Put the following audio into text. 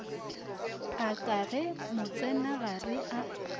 a ka ge motsenagare a